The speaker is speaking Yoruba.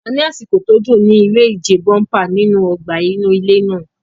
A ní àsìkò tó dùn ní iré ìje bóḿpà nínú ọgbà inú ilé náà